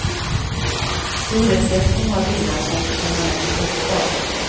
Hyresgästen har villan som permanent bostad.